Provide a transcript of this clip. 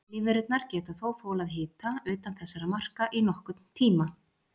Lífverurnar geta þó þolað hita utan þessara marka í nokkurn tíma.